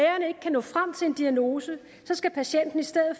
nå frem til en diagnose skal patienten i stedet